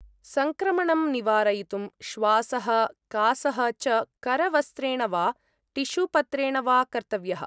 संक्रमणं निवारयितुं श्वासः, कासः च करवस्त्रेण वा टिशूपत्रेण वा कर्तव्यः ।